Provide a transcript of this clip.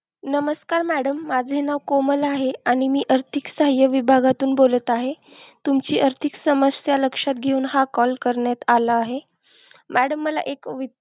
नमस्कार madam माझे नाव कोमल आहे, आणि मी आर्थिक सहाय्य विभागातून बोलत आहे. तुमची आर्थिक समस्या लक्षात घेऊन हा call करण्यात आला आहे. madam मला एक विच